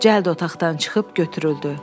Cəllad otaqdan çıxıb götürüldü.